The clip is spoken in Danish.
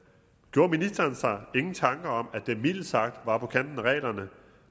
gjorde ministeren sig ingen tanker om at det mildt sagt var på kanten af reglerne